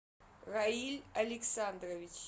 раиль александрович